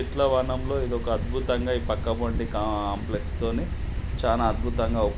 చెట్లవనం లో ఇదొక అద్భుతంగా ఈ పక్క వంటి కాంప్లెక్స్ తోని చాన అద్భుతంగా --